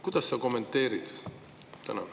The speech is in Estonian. Kuidas sa kommenteerid?